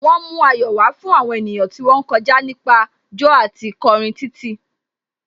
Wọ́n mú ayọ̀ wá fún àwọn ènìyàn tí wón ń kọjá nípa jó àti kọrin kiri títì.